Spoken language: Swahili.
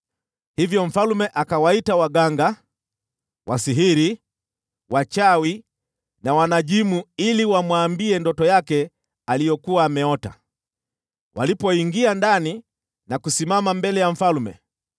Hivyo mfalme akawaita waganga, wasihiri, wachawi na wanajimu ili wamwambie ndoto yake aliyokuwa ameota. Walipoingia ndani na kusimama mbele ya mfalme,